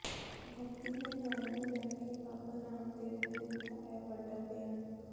ਵੱਧਦੀ ਮਹਿੰਗਾਈ ਨੂੰ ਲੈ ਕੇ ਬਾਬਾ ਰਾਮ ਦੇਵ ਨੇ ਦਿੱਤਾ ਇਹ ਵੱਡਾ ਬਿਆਨ